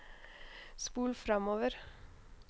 spol framover